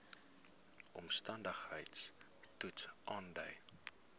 omstandigheids toets aandui